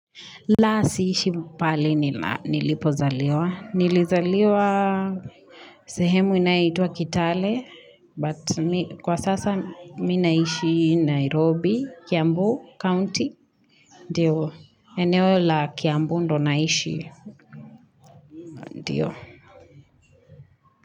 La sihishi pahali nina nilipozaliwa. Nilizaliwa sehemu inayoitwa Kitale, but kwa sasa mi naishi Nairobi, Kiambu, County, ndio, eneo la Kiambu ndo naishi, ndio.